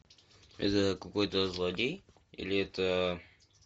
это какой то злодей или это